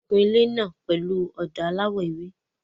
Wọ́n ń kun ilé náà pẹ̀lú ọ̀dà aláwọ̀ ewé.